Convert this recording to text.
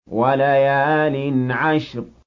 وَلَيَالٍ عَشْرٍ